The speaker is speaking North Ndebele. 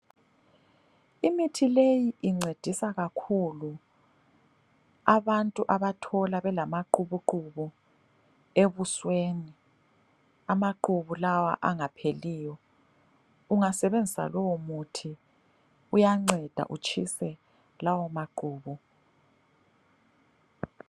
Imithi leyi incedisa kakhulu abantu abathola belamaqhubuqhubu ebusweni. Amaqhubu lawa angapheliyo, ungasebenzisa lowomuthi uyanceda utshise lawo maqhubu.